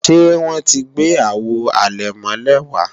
Ṣé wọ́n ti gbé Àwo àlẹ̀mọ́lẹ̀ wá